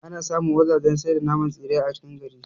Ana samu wajajen sai da naman tsire a cikin gari